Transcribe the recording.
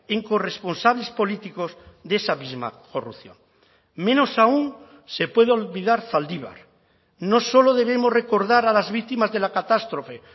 en corresponsables políticos de esa misma corrupción menos aún se puede olvidar zaldibar no solo debemos recordar a las víctimas de la catástrofe